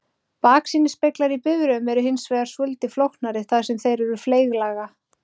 Baksýnisspeglar í bifreiðum eru hins vegar svolítið flóknari þar sem þeir eru fleyglaga.